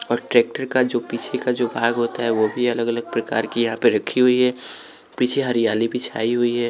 और ट्रैक्टर का जो पीछे का जो भाग होता है वो भी अलग-अलग प्रकार की यहाँ पे रखी हुई है पीछे हरियाली भी छाई हुई है।